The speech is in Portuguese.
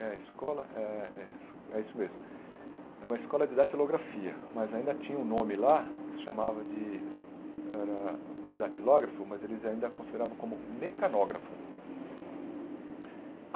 É a escola é é isso mesmo é uma escola de datilografia, mas ainda tinha um nome lá que se chamava de era datilógrafo, mas eles ainda a consideravam como mecanógrafo.